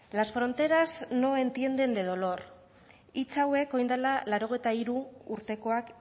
las fronteras no entienden de dolor hitz hauek oin dala laurogeita hiru urtekoak